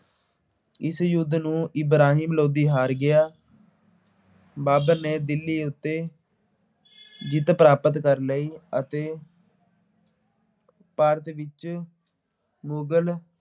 ਇਸ ਯੁੱਧ ਨੂੰ ਇਬਰਾਹਿਮ ਲੋਧੀ ਹਾਰ ਗਿਆ ਬਾਬਰ ਨੇ ਦਿੱਲੀ ਉੱਤੇ ਜਿੱਤ ਪ੍ਰਾਪਤ ਕਰ ਲਈ ਅਤੇ ਭਾਰਤ ਵਿੱਚ ਮੁਗਲ